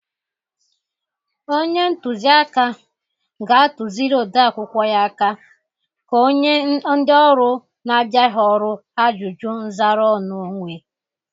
Onye ntụzị aka ga-atụzịrị ode akwụkwọ ya aka ka onye ndị ọrụ na-abịaghị ọrụ ajụjụ nzara ọnụ onwe.